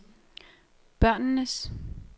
børnenes